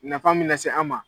Nafa min nase an ma.